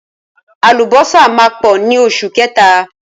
Àlùbọ́sà máa pọ̀ ní oṣù kẹta.